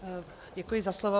Děkuji za slovo.